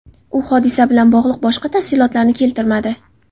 U hodisa bilan bog‘liq boshqa tafsilotlarni keltirmadi.